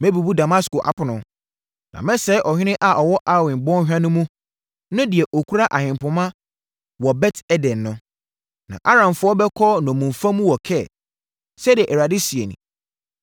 Mɛbubu Damasko apono, na mɛsɛe ɔhene a ɔwɔ Awen bɔnhwa no mu no ne deɛ ɔkura ahempoma wɔ Bet Eden no. Na Aramfoɔ bɛkɔ nnommumfa mu wɔ Kir,” sɛdeɛ Awurade seɛ nie.